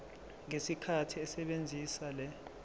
ngesikhathi esebenzisa le